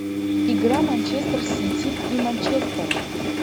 игра манчестер сити и манчестера